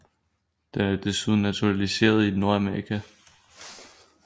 Den er desuden naturaliseret i Nordamerika